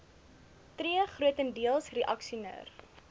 tree grotendeels reaksioner